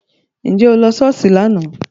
Ṣé o lọ sí Sọ́ọ́sì láánaà?